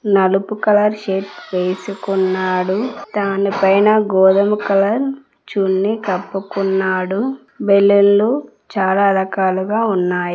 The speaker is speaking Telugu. నలుపు కలర్ షర్ట్ వేసుకున్నాడు దానిపైన గోధుమ కలర్ చున్నీ కప్పుకున్నాడు బెలూన్లు చాలా రకాలుగా ఉన్నాయ్.